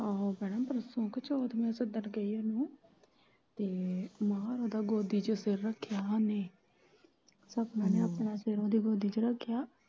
ਆਹੋ ਭੈਣਾਂ ਪਰਸੋਂ ਕ ਚੋਥ ਮੈਂ ਘਰ ਗਈ ਉਨਾਂ ਦੇ ਤੇ ਮਾਹਾ ਓਦੀ ਗੋਦੀ ਚ ਸਿਰ ਰੱਖਿਆ ਓਨੇ ਸਪਨਾ ਨੇ ਆਪਣਾ ਸਿਰ ਓਦੀ ਗੋਦੀ ਚ ਰੱਖਿਆ।